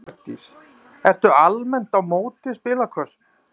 Hjördís: Ertu almennt á móti spilakössum?